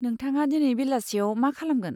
नोंथाङा दिनै बेलासियाव मा खालामगोन?